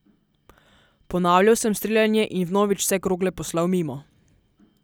Ponavljal sem streljanje in vnovič vse krogle poslal mimo.